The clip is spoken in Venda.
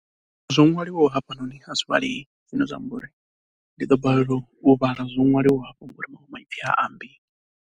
Tshivhalo tsha phesenthe i linganaho na heneyo vho no zwi pfa fhedzi vha ḽivha zwiḽuku kana a vha ḽivhi tshithu nga ha iyo ḽivhazwakale.